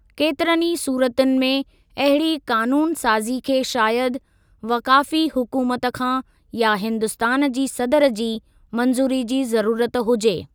केतरनि ई सूरतुनि में अहिड़ी क़ानूनु साज़ी खे शायदि वफ़ाक़ी हुकूमत खां या हिन्दुस्तान जी सदर जी मंज़ूरी जी ज़रूरत हुजे।